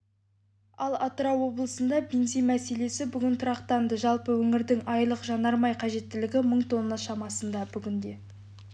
ал атырау облысында бензин мәселесі бүгін тұрақтанды жалпы өңірдің айлық жанармай қажеттілігі мың тонна шамасында бүгінде